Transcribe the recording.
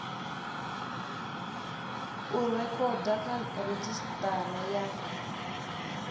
u rekhoda kha redzhisitara ya